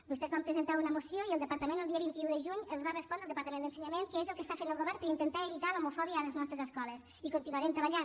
vostès van presentar una moció i el departament d’ensenyament el dia vint un de juny els va respondre què és el que està fent el govern per intentar evitar l’homofòbia a les nostres escoles i hi continuarem treballant